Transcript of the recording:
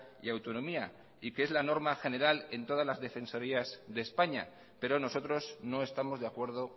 y autonomía y que es la norma general en todas las defensorías de españa pero nosotros no estamos de acuerdo